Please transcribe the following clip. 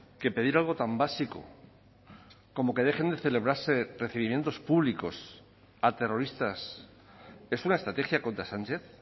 que pedir algo tan básico como que dejen de celebrarse recibimientos públicos a terroristas es una estrategia contra sánchez